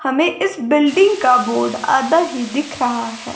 हमें इस बिल्डिंग का बोर्ड आधा ही दिख रहा है।